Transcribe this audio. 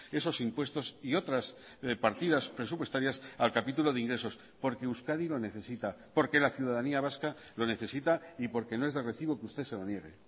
esos impuestos y otras partidas presupuestarias al capítulo de ingresos porque euskadi lo necesita porque la ciudadanía vasca lo necesita y porque no es de recibo que usted se lo niegue